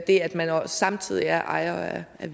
det at man samtidig er ejer af